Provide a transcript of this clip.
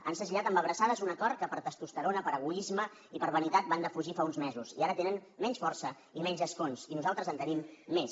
han segellat amb abraçades un acord que per testosterona per egoisme i per vanitat van defugir fa uns mesos i ara tenen menys força i menys escons i nosaltres en tenim més